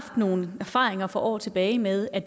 nogle erfaringer for år tilbage med at